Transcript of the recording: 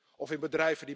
en la Unión.